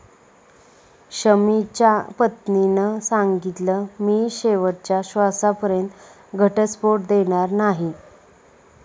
शमीच्या पत्नीनं सांगितलं, मी शेवटच्या श्वासापर्यंत घटस्फोट देणार नाही